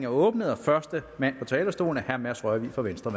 åbnet og første mand på talerstolen er herre mads rørvig fra venstre